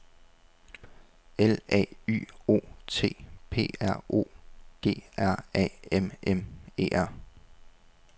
L A Y O U T P R O G R A M M E R